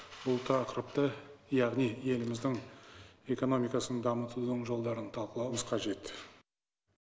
бұл тақырыпты яғни еліміздің экономикасын дамытудың жолдарын талқылауымыз қажет